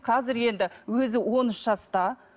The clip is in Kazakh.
қазір енді өзі он үш жаста